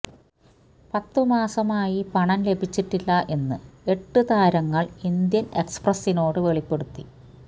പത്ത് മാസമായി പണം ലഭിച്ചിട്ടില്ല എന്ന് എട്ട് താരങ്ങള്ക്ക് ഇന്ത്യന് എക്സ്പ്രസിനോട് വെളിപ്പെടുത്തി